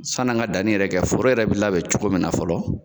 San n'an ka danni yɛrɛ kɛ ,foro yɛrɛ be labɛn cogo min na fɔlɔ